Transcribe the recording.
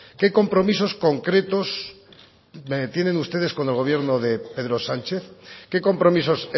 qué compromisos concretos tienen ustedes con el gobierno de pedro sánchez qué compromisos